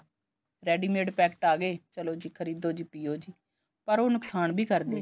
ready mate packet ਆ ਗਏ ਚਲੋ ਜੀ ਖਰੀਦੋ ਜੀ ਪਿਉ ਜੀ ਪਰ ਉਹ ਨੁਕਸਾਨ ਵੀ ਕਰਦੇ ਨੇ